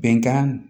Bɛnkan